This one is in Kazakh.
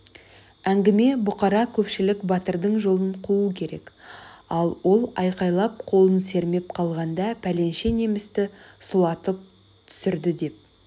әңгіме бұқара көпшілік батырдың жолын қуу керек ал ол айқайлап қолын сермеп қалғанда пәленше немісті сұлатып түсірді деп